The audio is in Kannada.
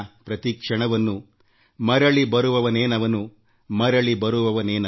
ಆಪ್ತ ಪ್ರೀತಿ ದೂರ ಸರಿದು ಹೋಗಿದೆ